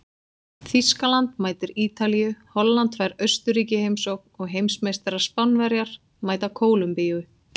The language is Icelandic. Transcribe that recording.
Þýskaland mætir Ítalíu, Holland fær Austurríki í heimsókn og heimsmeistarar Spánverjar mæta Kólumbíu.